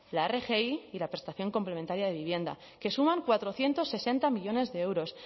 la rgi y la prestación complementaria de vivienda que suman cuatrocientos sesenta millónes de euros